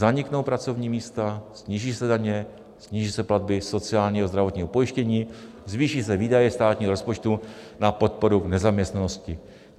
Zaniknou pracovní místa, sníží se daně, sníží se platby sociálního a zdravotního pojištění, zvýší se výdaje státního rozpočtu na podporu v nezaměstnanosti.